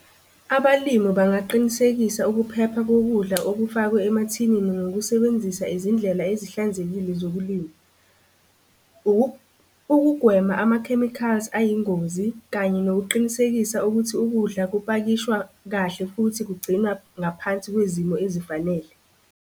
Abalimu bangaqinisekisa ukuphepha kokudla okufakwe emathinini ngokusebenzisa izindlela ezihlanzekile zokulima. Ukugwema ama-chemicals ayingozi kanye nokuqinisekisa ukuthi ukudla kupakishwa kahle futhi kugcinwa ngaphansi kwezimo ezifanele.